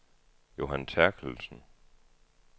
Johan Terkelsen